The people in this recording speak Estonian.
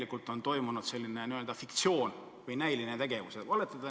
Või on toimunud selline fiktiivne või näiline tegevus?